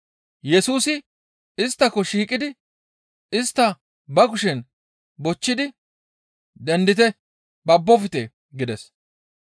Yesusi isttako shiiqidi istta ba kushen bochchidi, «Dendite; babbofte!» gides.